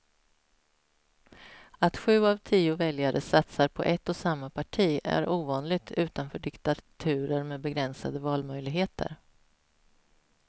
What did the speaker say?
Att sju av tio väljare satsar på ett och samma parti är ovanligt utanför diktaturer med begränsade valmöjligheter.